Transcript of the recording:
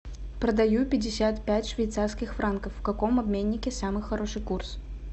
продаю пятьдесят пять швейцарских франков в каком обменнике самый хороший курс